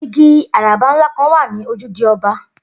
Igi àràbá ńlá kan wà ní ojúde o̩ba̩